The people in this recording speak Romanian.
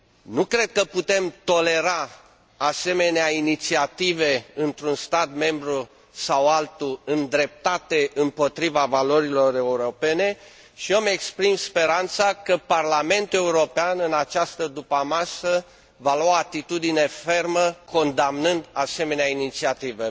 Nu cred că putem tolera asemenea inițiative într un stat membru sau altul îndreptate împotriva valorilor europene și eu îmi exprim speranța că Parlamentul European, în această după amiază, va lua o atitudine fermă, condamnând asemenea inițiative.